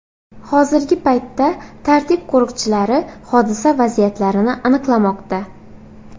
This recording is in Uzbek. Hozirgi paytda tartib qo‘riqchilari hodisa vaziyatlarini aniqlamoqda.